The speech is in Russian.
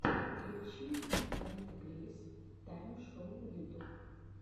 включи дантекрис тайм шоу ютуб